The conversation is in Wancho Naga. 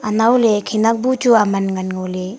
anaw ley khanak bu chu aman man ngo ley.